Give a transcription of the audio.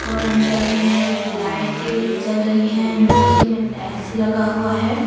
और अंदर में एक लाइटें जल रही हैं नीचे में टाइल्स लगा हुआ है।